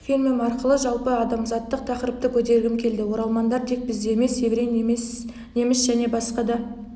фильмім арқылы жалпы адамзаттық тақырыпты көтергім келді оралмандар тек бізде емес еврей неміс және басқа